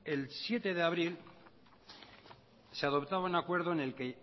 el siete de abril se adoptaba un acuerdo en el que